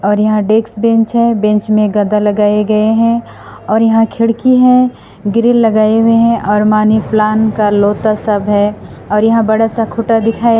और यहां desk bench है बेंच में गद्दा लगाए गए हैं और यहां खिड़की है ग्रिल लगाए हुए हैं और मनी प्लांट का लोटा सब है और यहां बड़ा सा खूटा दिखाया--